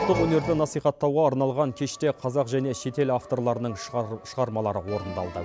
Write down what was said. ұлттық өнерді насихаттауға арналған кеште қазақ және шетел авторларының шығармалары орындалды